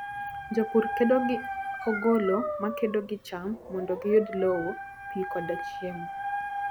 Jopur kedo gi ogolo makedo gi cham mondo giyud lowo, pi, koda chiemo.